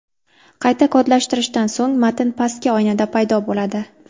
Qayta kodlashtirishdan so‘ng matn pastki oynada paydo bo‘ladi.